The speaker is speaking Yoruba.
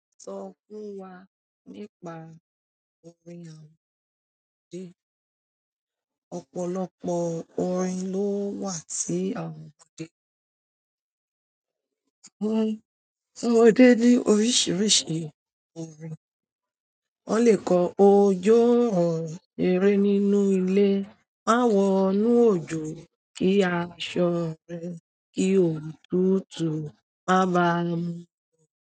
Sọ fún wa nípa orin àwọn ọmọdé. Ọ̀pọ̀lọpọ̀ orin ló wà tí àwọn ọmọdé. Àwọn ọmọdé ní oríṣiríṣi orin. Wọ́n le kọ "Ojo n ro ṣeré nínú ilé, má wọ'nú òjò kí aṣọ rẹ kí òtútù má ba mu o".